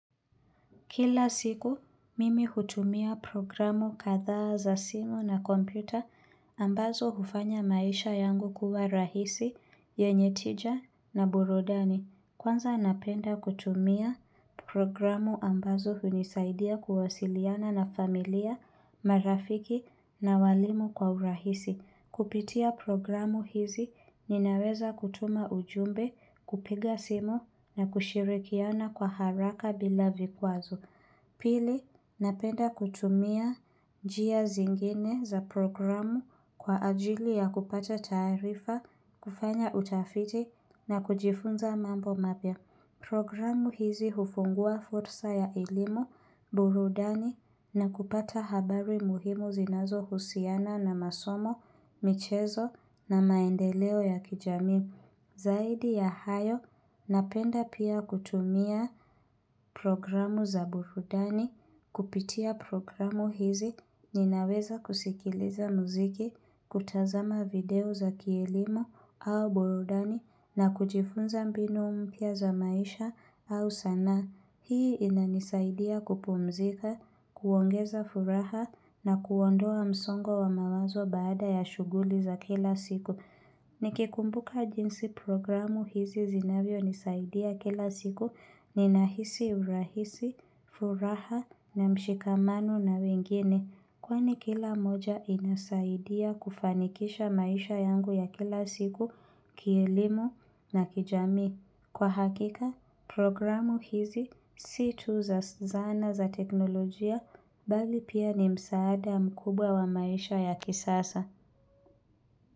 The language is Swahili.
Kila siku, mimi hutumia programu kadhaa za simu na kompyuta ambazo hufanya maisha yangu kuwa rahisi yenye tija na burudani. Kwanza napenda kutumia programu ambazo hunisaidia kuwasiliana na familia, marafiki na walimu kwa urahisi. Kupitia programu hizi ninaweza kutuma ujumbe, kupiga simu na kushirikiana kwa haraka bila vikwazo. Pili, napenda kutumia njia zingine za programu kwa ajili ya kupata taarifa, kufanya utafiti na kujifunza mambo mapya. Programu hizi hufungua fursa ya elimu, burudani na kupata habari muhimu zinazohusiana na masomo, michezo na maendeleo ya kijamii. Zaidi ya hayo, napenda pia kutumia programu za burudani, kupitia programu hizi, ninaweza kusikiliza mziki, kutazama video za kielimu au burudani na kujifunza mbinu mpya za maisha au sanaa hii inanisaidia kupumzika, kuongeza furaha na kuondoa msongo wa mawazo baada ya shughuli za kila siku. Nikikumbuka jinsi programu hizi zinavyonisaidia kila siku ninahisi urahisi, furaha na mshikamano na wengine. Kwani kila moja inasaidia kufanikisha maisha yangu ya kila siku, kielimu na kijamii. Kwa hakika, programu hizi si tu za zana za teknolojia bali pia ni msaada mkubwa wa maisha ya kisasa.